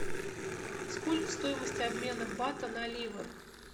сколько стоимость обмена бата на ливр